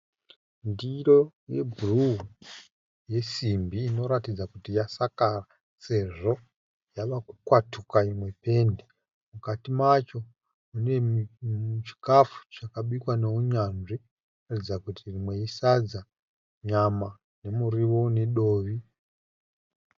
Ndiro yebhuruu yesimbi inoratidza kuti yasakara sezvo yavakukwatuka imwe pendi. Mukati macho mune chikafu chakabikwa nehunyanzvi zvinotaridza kuti rimwe isadza, nyama nemuriwo unedovi.